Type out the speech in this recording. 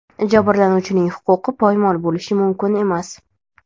Jabrlanuvchining huquqi poymol bo‘lishi mumkin emas.